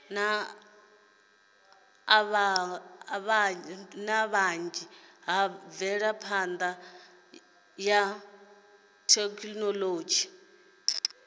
avhanya ha mvelaphana ya thekhinolodzhi